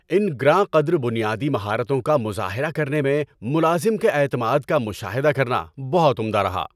ان گراں قدر بنیادی مہارتوں کا مظاہرہ کرنے میں ملازم کے اعتماد کا مشاہدہ کرنا بہت عمدہ رہا۔